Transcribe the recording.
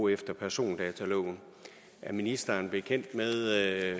efter persondataloven er ministeren bekendt med